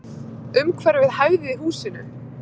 Umhverfið hæfði húsinu.